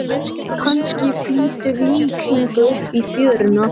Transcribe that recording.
Kannski flýtur lík hingað upp í fjöruna.